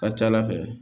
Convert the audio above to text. Ka ca ala fɛ